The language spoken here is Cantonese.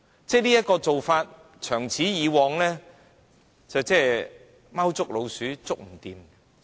這個做法長此下去，即像"貓捉老鼠，捉不完"。